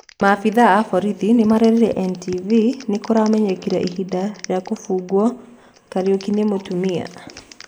Maabitha a borithi nĩmarerire NTV nĩkũramenyekire ĩhinda rĩa kũhũngo Kariukinĩ mũtumia.